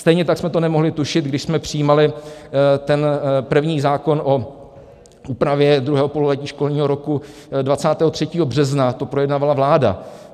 Stejně tak jsme to nemohli tušit, když jsme přijímali ten první zákon o úpravě druhého pololetí školního roku, 23. března to projednávala vláda.